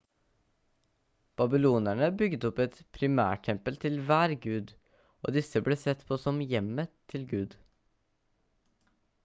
babylonerne bygget opp et primærtempel til hver gud og disse ble sett på som hjemmet til gud